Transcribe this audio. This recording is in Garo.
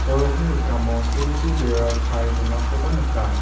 sorokni rikamo silchi bera kae donakoba nika.